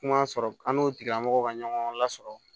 Kuma sɔrɔ an n'o tigilamɔgɔ ka ɲɔgɔn lasɔrɔ